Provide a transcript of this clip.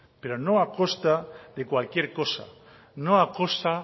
pero no a costa de cualquier costa